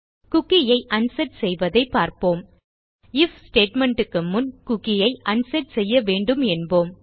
cookie ஐ unset செய்வதை பார்ப்போம் ஐஎஃப் ஸ்டேட்மெண்ட் க்கு முன் குக்கி ஐ அன்செட் செய்ய வேண்டும் என்போம்